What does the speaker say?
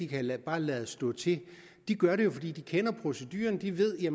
kan lade stå til de gør det jo fordi de kender procedurerne de ved at